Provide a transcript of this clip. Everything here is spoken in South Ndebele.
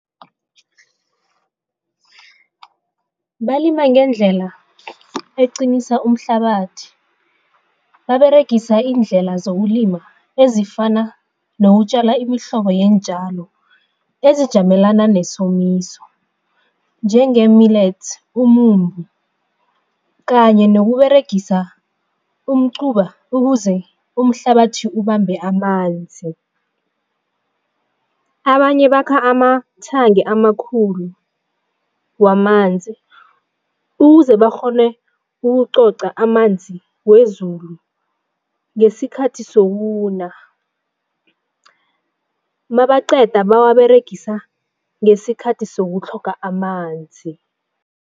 Balima ngendlela eqinisa umhlabathi. Baberegisa iindlela zokulima ezifana nokutjala imihlobo yeentjalo ezijamelana nesomiso njenge-millets, umumbu kanye nokuberegisa umquba ukuze umhlabathi ubambe amanzi. Abanye bakha amathangi amakhulu wamanzi ukuze bakghone ukucoca amanzi wezulu ngesikhathi sokuna mabaqeda bawaberegisa ngesikhathi sokutlhoga amanzi.